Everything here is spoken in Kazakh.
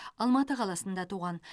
алматы қаласында туған